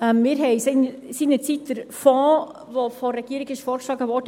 Wir haben seinerzeit den Fonds begrüsst, der von der Regierung vorgeschlagen wurde.